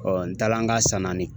n taala an ka san naani